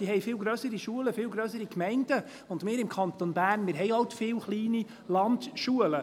die haben viel grössere Schulen und viel grössere Gemeinden, und wir im Kanton Bern haben halt viele kleine Landschulen.